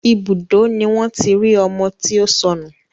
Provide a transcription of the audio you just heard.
Ibùdó ni wọ́n tí rí ọmọ tí ó sọnù